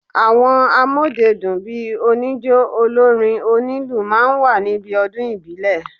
Àwọn amódedùn bíi oníjó, olórin, onílù máa ń wà níbí ọdún ìbílẹ̀